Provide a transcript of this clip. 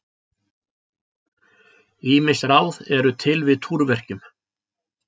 Ýmis ráð eru til við túrverkjum.